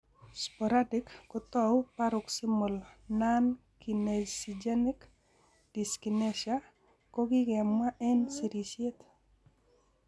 Sporadic kotau paroxysmal nonkinesigenic dyskinesia ko kikemwa eng' sirisyet.